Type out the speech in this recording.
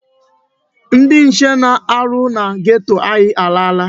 Ndị nche na-arụ na geto a alaala.